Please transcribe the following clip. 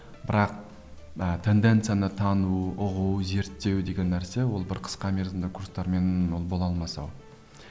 бірақ ы тенденцияны тану ұғу зерттеу деген нәрсе ол бір қысқа мерзімді курстармен ол бола алмас ау